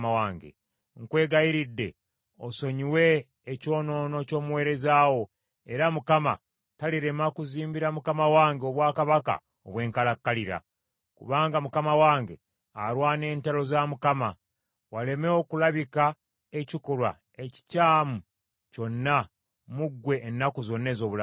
Nkwegayiridde osonyiwe ekyonoono kw’omuweereza wo, era Mukama talirema kuzimbira mukama wange obwakabaka obw’enkalakkalira, kubanga mukama wange alwana entalo za Mukama . Waleme okulabika ekikolwa ekikyamu kyonna mu ggwe ennaku zonna ez’obulamu bwo.